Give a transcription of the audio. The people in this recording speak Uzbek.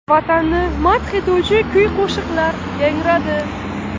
Vatanni madh etuvchi kuy-qo‘shiqlar yangradi.